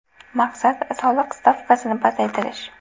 Maqsad – soliq stavkasini pasaytirish.